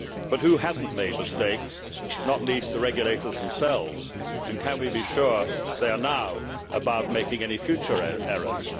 But who has not made mistakes, not least the regulators themselves, and can we be sure they are now above making any future errors?